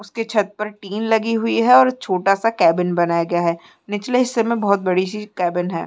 उसके छत पर टिन लगी हुई है और छोटा सा केबिन बनाया गया है। निचले हिस्से में बोहोत बड़ी सी केबिन है।